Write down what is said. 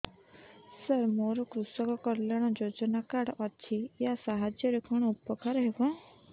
ସାର ମୋର କୃଷକ କଲ୍ୟାଣ ଯୋଜନା କାର୍ଡ ଅଛି ୟା ସାହାଯ୍ୟ ରେ କଣ ଉପକାର ହେବ